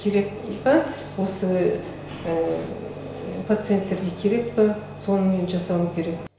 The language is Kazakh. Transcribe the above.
керек па осы пациенттерге керек па соны мен жасауым керек